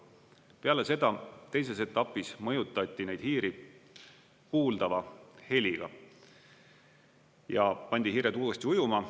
Peale seda, teises etapis mõjutati neid hiiri kuuldava heliga, ja pandi hiired uuesti ujuma.